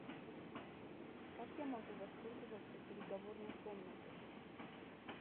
как я могу воспользоваться переговорной комнатой